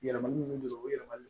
Yɛlɛmali ninnu don o yɛlɛmali